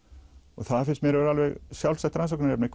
og það finnst mér að vera alveg sjálfstætt rannsóknarefni